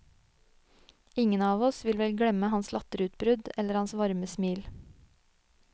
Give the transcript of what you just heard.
Ingen av oss vil vel glemme hans latterutbrudd eller hans varme smil.